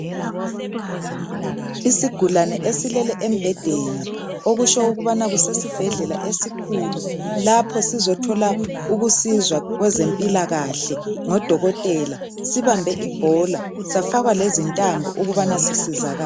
isigulane esilele embhedeni okutsho ukubana kusesibhedlela esikhulu lapho sizothola ukusizwa kwezempilakahle ngudokotela sibambe ibhola fafakwa izintambo ukubana sisizakale